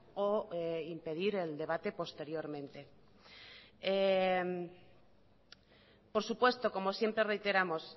o impedir el debate posteriormente por supuesto como siempre reiteramos